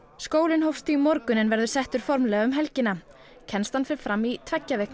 skólinn hófst í morgun en verður settur formlega um helgina kennslan fer fram í tveggja vikna